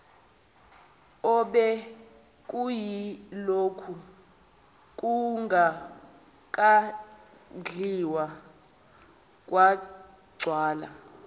obekuyilokhu kungakadliwa kwagcwala